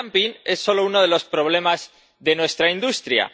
El dumping es solo uno de los problemas de nuestra industria.